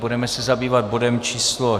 Budeme se zabývat bodem číslo